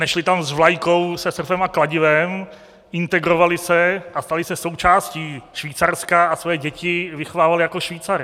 Nešli tam s vlajkou se srpem a kladivem, integrovali se a stali se součástí Švýcarska a svoje děti vychovávali jako Švýcary.